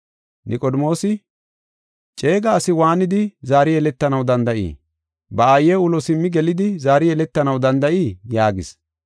Niqodimoosi, “Ceega asi waanidi zaari yeletanaw danda7ii? Ba aaye ulo simmi gelidi zaari yeletanaw danda7ii?” yaagis.